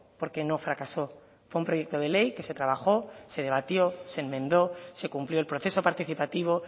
porque no fracasó fue un proyecto de ley que se trabajó se debatió se enmendó se cumplió el proceso participativo